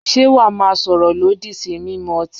Ṣé wà á máa sọ̀rọ̀ lòdì sí mímú ọtí?